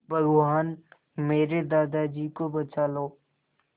भगवान मेरे दादाजी को बचा लो